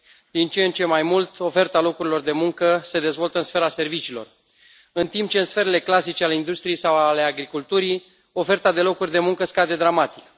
Din ce în ce mai mult, oferta locurilor de muncă se dezvoltă în sfera serviciilor, în timp ce, în sferele clasice ale industriei sau ale agriculturii, oferta de locuri de muncă scade dramatic.